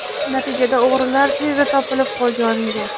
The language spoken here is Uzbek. Natijada o‘g‘rilar tezda topilib, qo‘lga olingan.